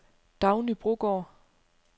Dagny Brogaard